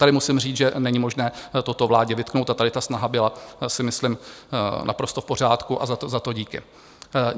Tady musím říct, že není možné toto vládě vytknout, a tady ta snaha byla, myslím si, naprosto v pořádku a za to díky.